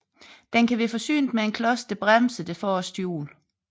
Den kan være forsynet med en klods der bremser det forreste hjul